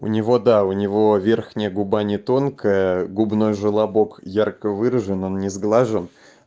у него да у него верхняя губа не тонкая губной желобок ярко выражен он не сглажен